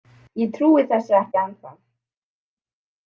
Ég trúi þessu ekki ennþá.